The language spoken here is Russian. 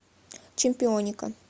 чемпионика